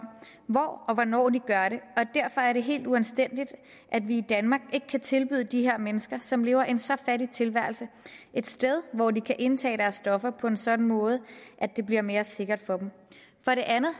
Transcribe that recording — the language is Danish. hvor og hvornår de gør det derfor er det helt uanstændigt at vi i danmark ikke kan tilbyde de her mennesker som lever en så fattig tilværelse et sted hvor de kan indtage deres stoffer på en sådan måde at det bliver mere sikkert for dem for det andet